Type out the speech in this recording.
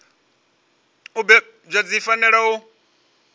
u bebwa dzi fanela u